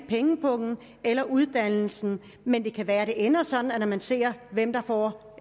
pengepung eller uddannelse men det kan være at det ender sådan når man ser hvem der får